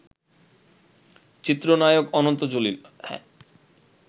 চিত্রনায়ক অনন্ত জলিল